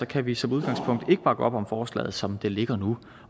kan vi som udgangspunkt ikke bakke op om forslaget som det ligger nu